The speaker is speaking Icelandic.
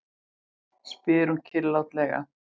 spyr hún kyrrlátlega.